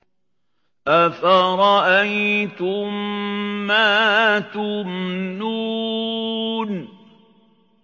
أَفَرَأَيْتُم مَّا تُمْنُونَ